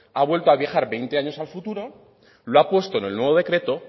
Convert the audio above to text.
ha vuelto a viajes veinte años al futuro lo ha puesto en el nuevo decreto